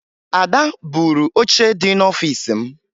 Ada buuru oche dị n'ọfiisi m